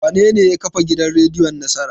Wanene ya kafa gidan rediyon Nasara?